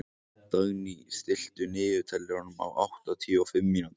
Dagný, stilltu niðurteljara á áttatíu og fimm mínútur.